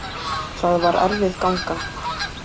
Það var erfið ganga.